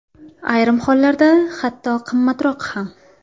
Ayrim hollarda, hatto qimmatroq ham.